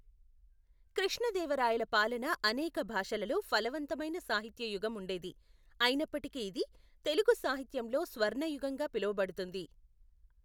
కృష్ణదేవరాయల పాలన అనేక భాషలలో ఫలవంతమైన సాహిత్య యుగం ఉండేది, అయినప్పటికీ ఇది తెలుగు సాహిత్యంలో స్వర్ణయుగంగా పిలువబడుతుంది.